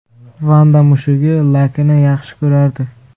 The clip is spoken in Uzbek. Vanda mushugi Lakini yaxshi ko‘rardi.